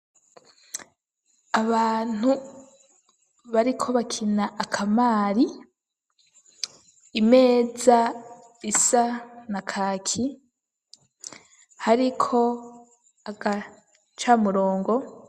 Abantu bariko bakina akamari imeza isa na kaki, hariko agacamurongo.